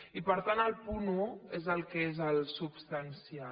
i per tant el punt un és el que és el substancial